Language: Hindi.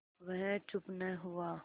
वह चुप न हुआ